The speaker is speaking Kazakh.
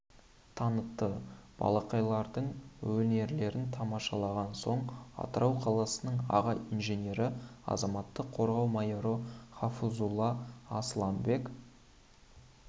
танытты балақайлардың өнерлерін тамашалаған соң атырау қаласының аға инженері азаматтық қорғау майоры хафизұлы асыланбек